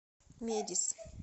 медис